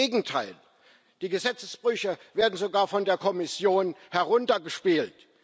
Im Gegenteil, die Gesetzesbrüche werden sogar von der Kommission heruntergespielt.